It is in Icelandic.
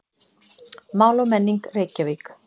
Mál og menning, Reykjavík.